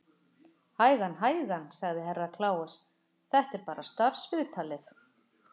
Hægan, hægan, sagði Herra Kláus, þetta er bara starfsviðtalið.